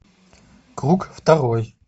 круг второй